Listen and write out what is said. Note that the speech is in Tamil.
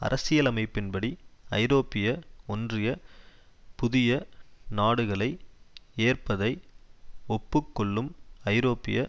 அரசியலமைப்பின்படி ஐரோப்பிய ஒன்றிய புதிய நாடுகளை ஏற்பதை ஒப்பு கொள்ளும் ஐரோப்பிய